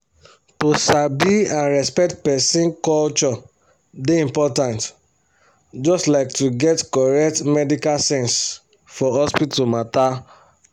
to sabi and respect person culture dey important just like to get correct medical sense for hospital matter.